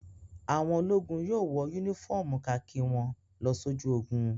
Àwọn ológun yóò wọ únífọ́ọ́mù kakí wọn lọ sójú ogun.